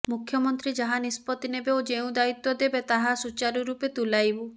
ମୁଖ୍ୟମନ୍ତ୍ରୀ ଯାହା ନିଷ୍ପତି ନେବେ ଓ ଯେଉଁ ଦାୟିତ୍ୱ ଦେବେ ତାହା ସୂଚାରୁ ରୂପେ ତୁଲାଇବୁ